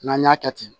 N'an y'a kɛ ten